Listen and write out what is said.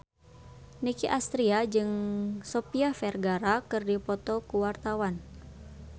Nicky Astria jeung Sofia Vergara keur dipoto ku wartawan